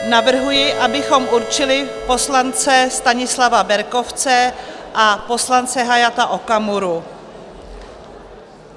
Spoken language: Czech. Navrhuji, abychom určili poslance Stanislava Berkovce a poslance Hayata Okamuru.